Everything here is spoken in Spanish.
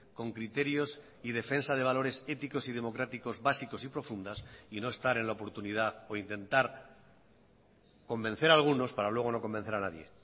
con criterios y defensa de valores éticos y democráticos básicos y profundas y no estar en la oportunidad o intentar convencer a algunos para luego no convencer a nadie